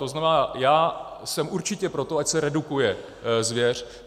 To znamená, já jsem určitě pro to, ať se redukuje zvěř.